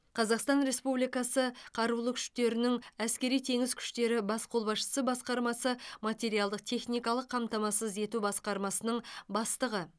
қазақстан республикасы қарулы күштерінің әскери теңіз күштері бас қолбасшысы басқармасы материалдық техникалық қамтамасыз ету басқармасының бастығы